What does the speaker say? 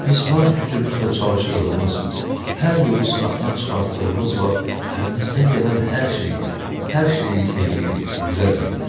Biz var gücümüzlə çalışdığımız, hər yolu sınaqdan çıxartdığımız vaxt əlimizdən gələn hər şeyi, hər şeyi eləyirik, elə deyil?